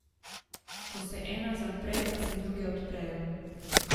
Ko se ena zapre, se pa druge odprejo.